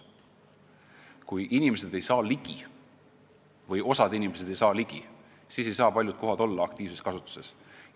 Kui osa inimesi või üldse inimesed ei saa kuhugi ligi, siis ei saa paljud kohad olla aktiivses kasutuses.